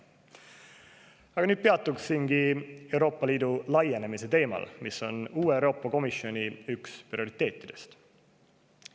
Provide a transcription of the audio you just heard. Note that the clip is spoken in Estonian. Aga nüüd peatungi Euroopa Liidu laienemise teemal, mis on üks uue Euroopa Komisjoni prioriteetidest.